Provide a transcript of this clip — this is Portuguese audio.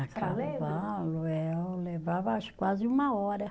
A cavalo, eh eu levava acho que quase uma hora.